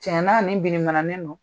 Tiɲɛna nin binimananen don